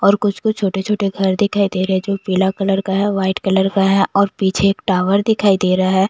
और कुछ-कुछ छोटे-छोटे घर दिखाई दे रहे हैं जो पीला कलर का है व्हाइट कलर का है और पीछे एक टावर दिखाई दे रहा है।